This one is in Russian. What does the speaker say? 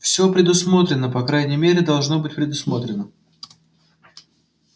все предусмотрено по крайней мере должно быть предусмотрено